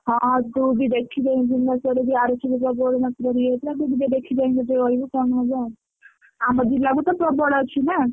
ହଁ ହଁ ତୁ ବି ତୁ ଟିକେ ଦେଖି ଚାହିଁକିରହିବୁ କଣ ହବ ଆଉ ଆମ ଜିଲ୍ଲା କୁ ତ ପ୍ରବଳ ଅଛି ନା।